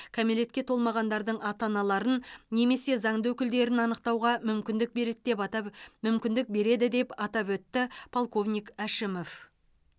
кәмелетке толмағандардың ата аналарын немесе заңды өкілдерін анықтауға мүмкіндік береді деп атап мүмкіндік береді деп атап өтті полковник әшімов